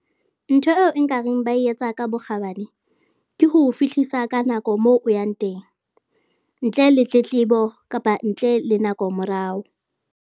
Ntho eo nka reng ba e etsa ka bokgabane ke ho o fihlisa ka nako moo o yang teng ntle le tletlebo kapa ntle le nako morao.